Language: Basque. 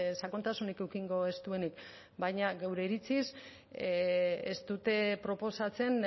sakontasunik edukiko ez duenik baina geure iritziz ez dute proposatzen